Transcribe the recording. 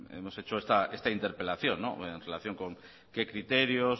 hemos hecho esta interpelación en relación con qué criterios